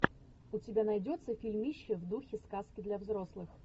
у тебя найдется фильмище в духе сказки для взрослых